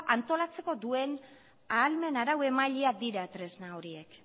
antolatzeko duen ahalmen arauemailea dira tresna horiek